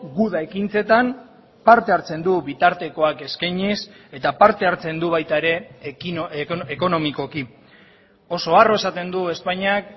guda ekintzetan parte hartzen du bitartekoak eskainiz eta parte hartzen du baita ere ekonomikoki oso harro esaten du espainiak